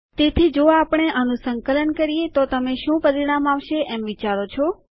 તેથી જો આપણે આનું સંકલન કરીએ તો તમે શું પરિણામ આવશે એમ વિચારો છો